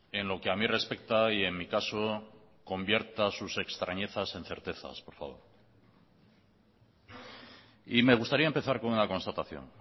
en lo que a mi respecta y en mi caso convierta sus extrañezas en certezas por favor y me gustaría empezar con una constatación